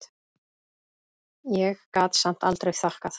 Ég gat samt aldrei þakkað